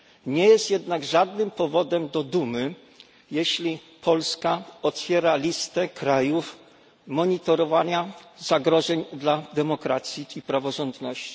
Nie jest jednak żadnym powodem do dumy, jeśli Polska otwiera listę krajów monitorowania zagrożeń dla demokracji i praworządności.